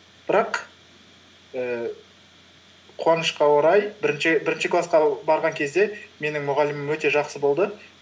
бірақ ііі қуанышқа орай бірінші классқа барған кезде менің мұғалімім өте жақсы болды